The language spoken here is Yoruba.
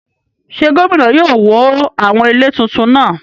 Ṣé gómìnà yóò wó àwọn ilé tuntun náà?